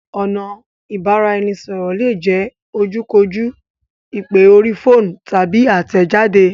Ọ̀nà Ìbáraẹnisọ̀rọ̀ lè jẹ ojú kò jú, ìpè orí fóònù, tàbí àtẹ̀jade